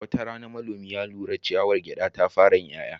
Wata rana, manomi ya lura cewa ciyawar gyada ta fara yin 'ya'ya.